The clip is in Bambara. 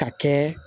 Ka kɛ